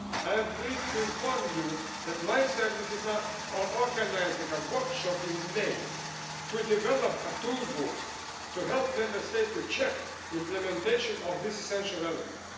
I am pleased to inform you that my services are organising a workshop in May to develop a toolbox to help Member States to check implementation of this essential